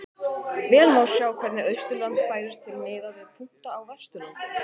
Vel má sjá hvernig Austurland færist til miðað við punkta á Vesturlandi.